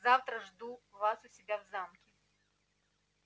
завтра жду вас у себя в замке